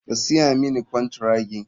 Ka siya mani kwantiragi.